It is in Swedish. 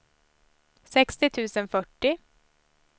sextio tusen fyrtio